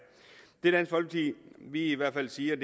det vi i hvert fald siger i